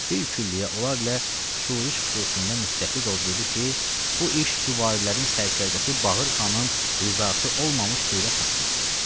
Bil külliyyə onlar ilə şuriş xüsusunda müttəfiq olub dedi ki, bu iş süvarilərin sərdarkəsi Baqır Xanın razısı olmamış sürət tapmaz.